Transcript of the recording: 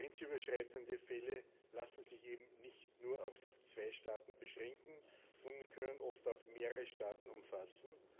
Grenzüberschreitende Fälle lassen sich eben nicht nur auf zwei Staaten beschränken, sondern können oft auch mehrere Staaten umfassen.